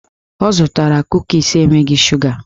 Ọ zụtara kukis enweghị shuga